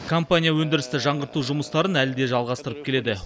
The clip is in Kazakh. компания өндірісті жаңғырту жұмыстарын әлі де жалғастырып келеді